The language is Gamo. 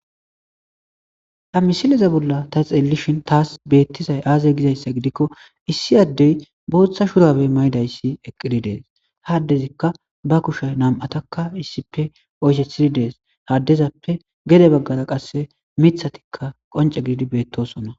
Ha missileza bollan ta xellishin tasi bettizay aze gizaysa gidiko issi addeyi boththa shurabbe mayidi eqqidi dees ha addezika ba kushe nam'ataka oyisethidi deesi addezappe gede baggara miththatika qoncce gididi bettosona.